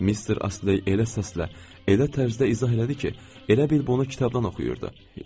Mister Astley elə səslə, elə tərzdə izah elədi ki, elə bil bunu kitabdan oxuyurdu.